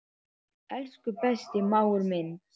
Elsku besti mágur minn.